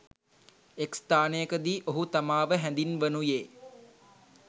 එක් ස්ථානයකදී ඔහු තමාව හැඳින්වනුයේ